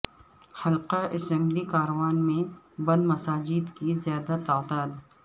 حلقہ اسمبلی کاروان میں بند مساجد کی زیادہ تعداد